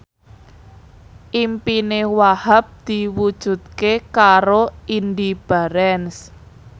impine Wahhab diwujudke karo Indy Barens